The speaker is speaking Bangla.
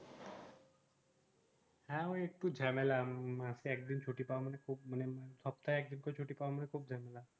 হ্যাঁ ঐ একটু ঝামেলা মাসে একদিন ছুটি পাওয়া মানে খুব সপ্তাহে একদিন করে ছুটি পাওয়া মানে খুব ঝামেলা